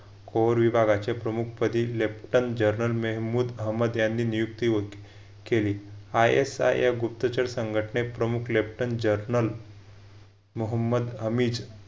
core विभागाचे प्रमुख पदी leften जर्नल मेहंम्मूद अहमद यांनी नियुक्त होती केली हा एक सहायक गुप्तचर संघटने प्रमुख leften जर्नल मोहम्मद अमीज